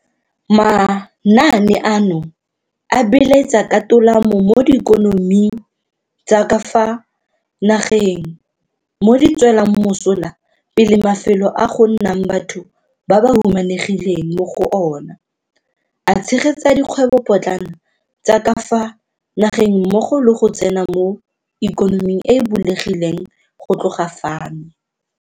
Manaane ano a beeletsa ka tolamo mo diikonoming tsa ka fa nageng, mo di tswelang mosola pele mafelo a go nnang batho ba ba humanegileng mo go ona, a tshegetsa dikgwebopotlana tsa ka fa nageng mmogo le go tsena mo ikonoming e e bulegileng go tloga fano.